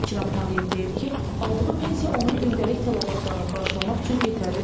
İkram Tağıyev deyir ki, aldığı pensiya onun gündəlik tələbatlarını qarşılamaq üçün yetərli deyil.